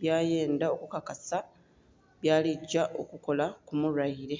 byayendha okukakasa byaligya okukola ku mulwaile.